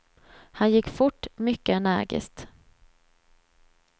Han gick fort, mycket energiskt.